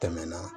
Tɛmɛna